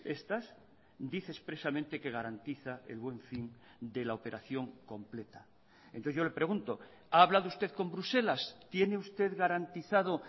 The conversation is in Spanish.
estas dice expresamente que garantiza el buen fin de la operación completa entonces yo le pregunto ha hablado usted con bruselas tiene usted garantizado